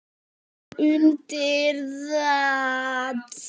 Tómas tekur undir það.